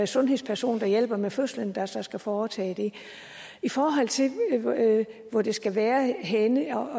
sundhedsperson der hjælper med fødslen der så skal foretage det i forhold til hvor det skal være henne